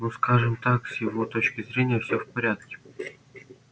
ну скажем так с его точки зрения всё в порядке